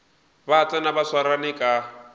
ba tsena ba swarane ka